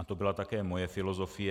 A to byla také moje filozofie.